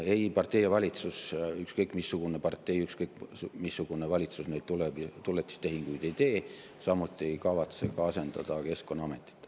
Ei partei ega valitsus, ükskõik missugune partei, ükskõik missugune valitsus tuletistehinguid ei tee, samuti ei kavatse nad asendada Keskkonnaametit.